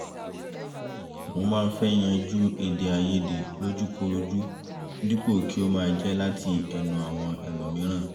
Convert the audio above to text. mo máa ń fẹ́ yanjú èdèàìyedè lójú korojú dípò kí ó máa jẹ́ láti ẹnu àwọn ẹlómííràn